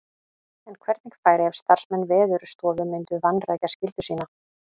En hvernig færi ef starfsmenn Veðurstofu myndu vanrækja skyldu sína?